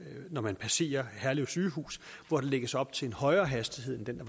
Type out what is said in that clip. når man passerer herlev sygehus hvor der lægges op til en højere hastighed end den